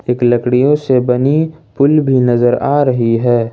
एक लकड़ियों से बनी पुल भी नजर आ रही है।